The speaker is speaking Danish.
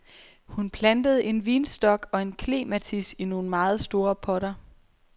Hun plantede en vinstok og en klematis i nogle meget store potter.